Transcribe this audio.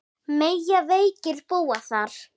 Mega veikir búa þar?